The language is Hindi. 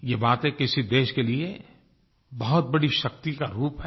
ये बातें किसी देश के लिए बहुत बड़ी शक्ति का रूप हैं